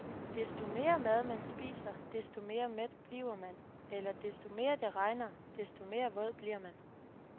Desto mere mad man spiser, desto mere mæt bliver man eller desto mere det regner, desto mere våd bliver man.